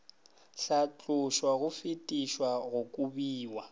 hlatlošwa go fetišwa go kobiwa